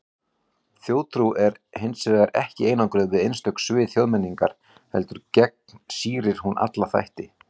Þjóðtrú er hins vegar ekki einangruð við einstök svið þjóðmenningar, heldur gegnsýrir hún alla þætti.